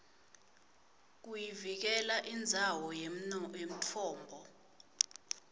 kuvikela indzawo yemtfombo